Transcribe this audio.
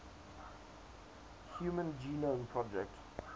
human genome project